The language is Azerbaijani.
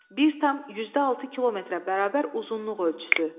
1,06 kilometrə bərabər uzunluq ölçüsü.